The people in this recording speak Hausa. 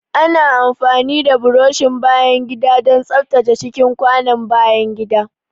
Ana amfani da burushin bayan gida don tsaftace cikin kwanon bayan gida.